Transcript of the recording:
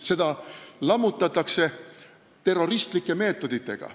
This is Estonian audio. Seda lammutatakse terroristlike meetoditega.